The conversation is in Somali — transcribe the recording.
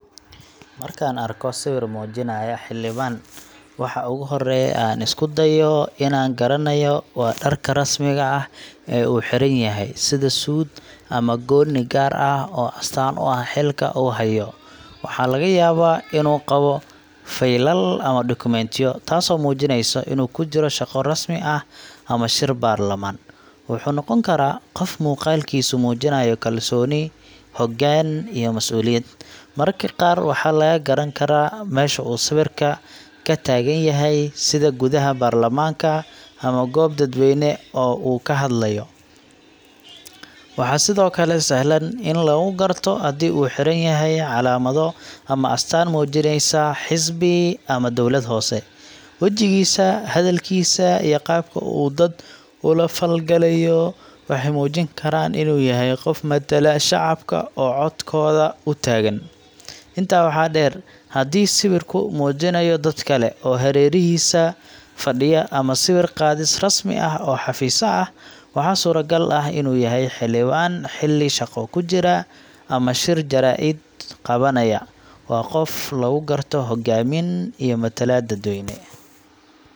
Marka aan arko sawir muujinaya xildhibaan, waxa ugu horreeya ee aan isku dayo inaan garanayo waa dharka rasmiga ah ee uu xiran yahay, sida suud ama goonni gaar ah oo astaan u ah xilka uu hayo. Waxaa laga yaabaa inuu qabo faylal ama dokumentiyo, taasoo muujinaysa inuu ku jiro shaqo rasmi ah ama shir baarlamaan. Wuxuu noqon karaa qof muuqaalkiisu muujinayo kalsooni, hoggaan iyo masuuliyad. Mararka qaar waxaa laga garan karaa meesha uu sawirka ka taagan yahay, sida gudaha baarlamaanka ama goob dadweyne oo uu ka hadlayo. Waxaa sidoo kale sahlan in lagu garto haddii uu xiran yahay calaamado ama astaan muujinaysa xisbi ama dowlad hoose. Wejigiisa, hadalkiisa, iyo qaabka uu dad ula falgalayo waxay muujin karaan inuu yahay qof matala shacabka oo codkooda u taagan. Intaa waxaa dheer, haddii sawirku muujinayo dad kale oo hareerihiisa fadhiya ama sawir qaadis rasmi ah oo xafiis ah, waxaa suuragal ah inuu yahay xildhibaan xilli shaqo ku jira ama shir jaraa’id qabanaya. Waa qof lagu garto hoggaamin iyo matalaad dadweyne.